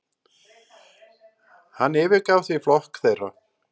Hann yfirgaf því flokk þeirra.